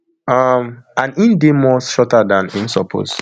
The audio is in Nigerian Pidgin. um and im dey more shorter dan im suppose